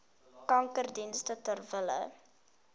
kankerdienste ter wille